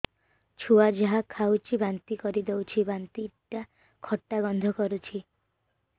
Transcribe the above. ଛୁଆ ଯାହା ଖାଉଛି ବାନ୍ତି କରିଦଉଛି ବାନ୍ତି ଟା ଖଟା ଗନ୍ଧ କରୁଛି